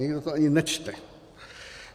Nikdo to ani nečte.